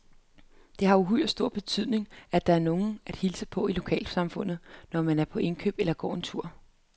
Det har uhyre stor betydning, at der er nogen at hilse på i lokalsamfundet, når man er på indkøb eller går tur.